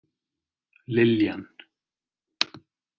Liljan